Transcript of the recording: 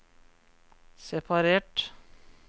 separert